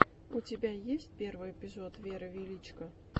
у тебя есть первый эпизод веры величко